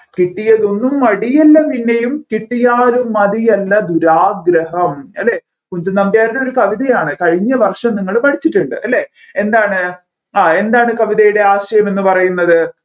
കിട്ടിയതൊന്നും മതിയല്ല പിന്നെയും കിട്ടിയാലും മതിയല്ല ദുരാഗ്രഹം അല്ലെ കുഞ്ചൻനമ്പ്യാരുടെ ഒരു കവിതയാണ് കഴിഞ്ഞ വർഷം നിങ്ങൾ പഠിച്ചിട്ടുണ്ട് അല്ലെ എന്താണ് ആ എന്താണ് കവിതയുടെ ആശയമെന്ന് പറയുന്നത്